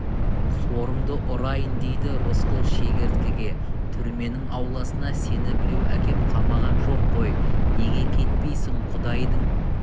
сорыңды ұрайын дейді рысқұл шегірткеге түрменің ауласына сені біреу әкеп қамаған жоқ қой неге кетпейсің құдайдың